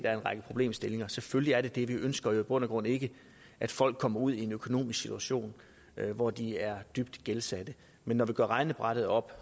er en række problemstillinger selvfølgelig er der det vi ønsker jo i bund og grund ikke at folk kommer ud i en økonomisk situation hvor de er dybt gældsatte men når vi gør regnebrættet op